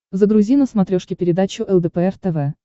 загрузи на смотрешке передачу лдпр тв